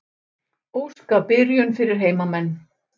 Óska byrjun fyrir heimamenn.